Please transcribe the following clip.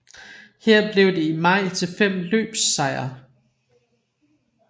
Her blev det i maj til fem løbssejre